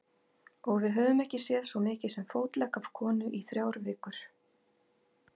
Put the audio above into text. Og við höfum ekki séð svo mikið sem fótlegg af konu í þrjár vikur.